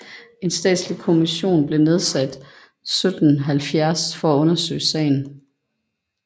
En statslig kommission blev nedsat 1770 for at undersøge sagen